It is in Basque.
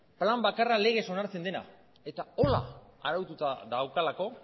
plan bakarra legez onartzen dena eta horrela araututa daukalako